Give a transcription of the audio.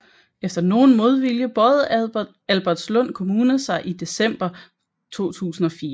Efter nogen modvilje bøjede Albertslund Kommune sig i december 2004